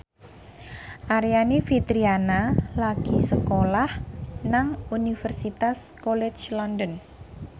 Aryani Fitriana lagi sekolah nang Universitas College London